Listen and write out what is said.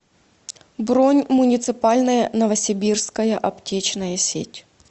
бронь муниципальная новосибирская аптечная сеть